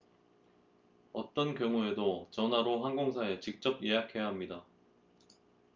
어떤 경우에도 전화로 항공사에 직접 예약해야 합니다